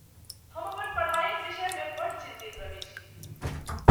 हम अपन पढ़ाइक विषयमे बड्ड चिन्तित छी।